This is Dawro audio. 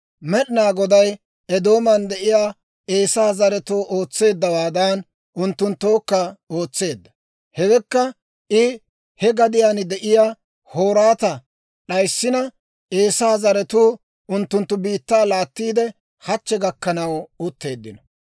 Med'inaa Goday Eedooman de'iyaa Eesaa zaretoo ootseeddawaadan, unttunttookka ootseedda; hewekka I he gadiyaan de'iyaa Hoorata d'ayssina, Eesaa zaratuu unttunttu biittaa laattiide hachche gakkanaw utteeddino.